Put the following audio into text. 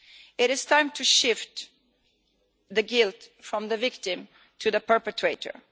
It is time to shift the guilt from the victim to the perpetrator.